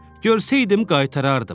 Görsəydim qaytarardım.